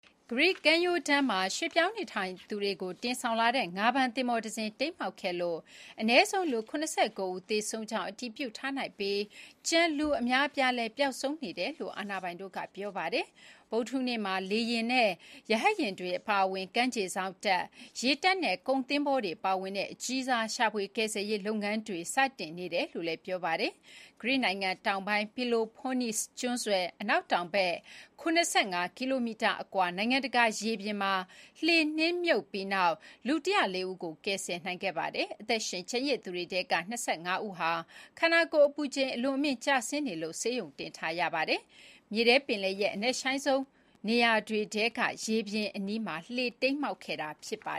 ဂရိကမ်းရိုးတန်းမှာ ရွှေ့ပြောင်းနေထိုင်သူတွေကို တင်ဆောင်လာတဲ့ငါးဖမ်းသင်္ဘောတစင်း တိမ်းမှောက်ခဲ့လို့ အနည်းဆုံး လူ ၇၉ ဦးသေဆုံးကြောင်း အတည်ပြုထားနိုင်ပြီးကျန် လူအများအပြားလည်း ပျောက်ဆုံးနေ တယ်လို့ အာဏာပိုင်တွေက ပြောပါတယ်။ ဗုဒ္ဓဟူးနေ့မှာ လေယာဉ် နဲ့ ရဟတ်ယာဉ်တွေ အပါအဝင် ကမ်းခြေစောင့်တပ်၊ ရေတပ်နဲ့ ကုန်သင်္ဘောတွေ ပါဝင်တဲ့ အကြီးစားရှာဖွေကယ်ဆယ်ရေးလုပ်ငန်းတွေလည်း စတင်နေတယ် ဆိုပါတယ်။။ ဂရိနိုင်ငံ တောင်ပိုင်း Peloponnese ကျွန်းဆွယ်အနောက်တောင်ဘက် ၇၅ ကီလိုမီတာအကွာ နိုင်ငံတကာ ရေပြင်မှာ လှေနစ်မြုပ်ပြီးနောက် လူ ၁၀၄ ဦးကို ကယ်ဆယ်နိုင်ခဲ့ပါတယ်။ အသက်ရှင်ကျန်ရစ်သူတွေထဲက ၂၅ ဦးဟာ ခန္ဓာကိုယ် အပူချိန် အလွန်အမင်းကျဆင်းနေလို့ ဆေးရုံတင်ထားရပါတယ်။ မြေထဲပင်လယ်ရဲ့ အနက်ရှိုင်းဆုံးနေရာတွေထဲက ရေပြင်အနီးမှာ လှေတိမ်းမှောက်ခဲ့တာပါ